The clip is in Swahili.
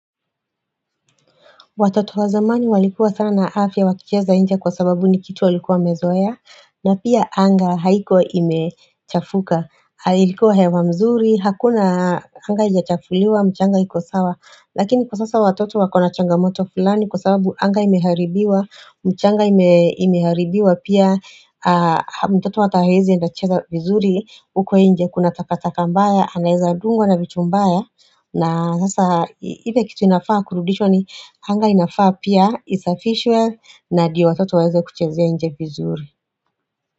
Watoto wa zamani walikuwa sana na afya wakicheza nje kwa sababu ni kitu walikuwa wamezoea. Na pia anga haikuwa imechafuka. Hali ilikuwa hewa mzuri, hakuna anga haija chafuliwa, mchanga iko sawa. Lakini kwa sasa watoto wakona changamoto fulani kwa sababu anga imeharibiwa, mchanga imeharibiwa pia. Mtoto atahawezi enda cheza vizuri, huko nje kuna takataka mbaya, anaweza ndungwa na vitu mbaya. Na sasa ile kitu inafaa kurudishwa ni anga inafaa pia isafishwe na ndio watoto waweze kuchezea nje fizuri.